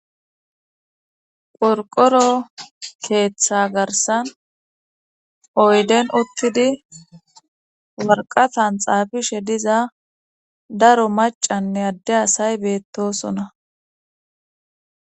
Qorqoro keeththa garsan oyden uttidi warqatan xaafishe diza daro macanne adde asay beettosona